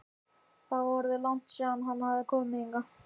Það var orðið langt síðan hann hafði komið hingað.